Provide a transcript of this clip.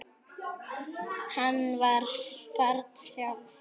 Hún var barn sjálf.